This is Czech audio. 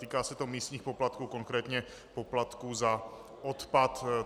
Týká se to místních poplatků, konkrétně poplatků za odpad.